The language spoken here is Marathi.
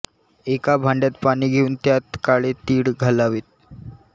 एका भांड्यात पाणी घेऊन त्यात काळे तीळ घालावेत